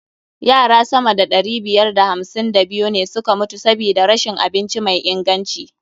Yara sama da ɗari biyar da hamsin da biyu ne suka mutu sabida rashin abinci mai inganci.